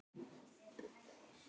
Kennari góður.